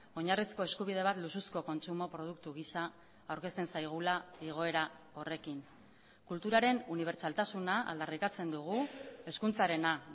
oinarrizko eskubide bat luxuzko kontsumo produktu gisa aurkezten zaigula igoera horrekin kulturaren unibertsaltasuna aldarrikatzen dugu hezkuntzarena